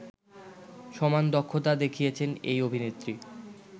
সমান দক্ষতা দেখিয়েছেন এই অভিনেত্রী